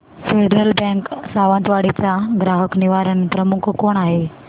federal Bank Sawantwadi चा ग्राहक निवारण प्रमुख कोण आहे